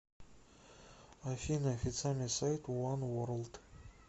афина официальный сайт уан ворлд